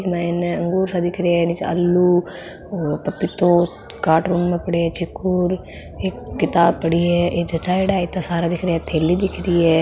इंग माइन अंगूर सा दिख रा है निचे आलू और पपितो काटरूण में पड़ा है चीकू और एक किताब पड़ी है ये जचायेडॉ है इत्ता सारा ये थैली दिख रही है।